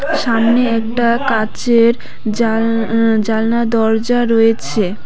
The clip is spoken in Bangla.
সামনে একটা কাঁচের জাল জালনা দরজা রয়েছে।